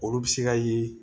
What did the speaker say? Olu bɛ se ka ye